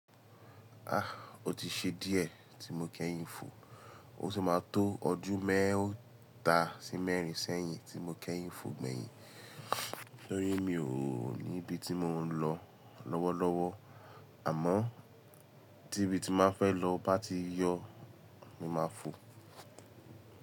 O ti ṣe díẹ̀ tí mo kẹ́yìn fò, ó ti máa tó ọdún mẹ́ta sí mẹ́rin sẹ́yìn tí mo kẹ́yìn fò gbẹ̀yìn. Tori mi ò ní ibi tí mò ń lọ lọ́wọ́lọ́wọ́, àmọ́ tí ibi tí n máa fẹ́ lọ bá ti yọ, mo máa fò.